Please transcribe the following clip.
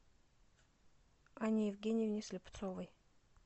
анне евгеньевне слепцовой